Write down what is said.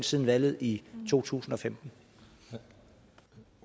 siden valget i totusinde